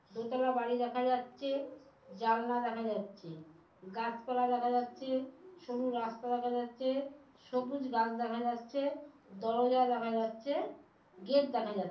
দোতলা বাড়ি দেখা যাচ্ছে জালনা দেখা যাচ্ছে গাছপালা দেখা যাচ্ছে সরু রাস্তা দেখা যাচ্ছে সবুজ গাছ দেখা যাচ্ছে দরজা দেখা যাচ্ছে গেট দেখা যা--